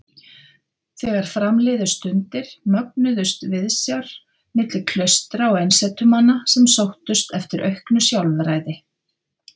Þegar fram liðu stundir mögnuðust viðsjár milli klaustra og einsetumanna sem sóttust eftir auknu sjálfræði.